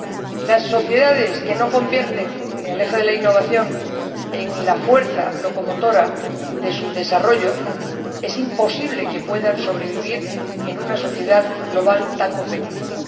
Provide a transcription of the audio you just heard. que las sociedades que no convierten el eje de la innovación en la fuerza locomotora de su desarrollo puedan sobrevivir en una sociedad global tan competitiva.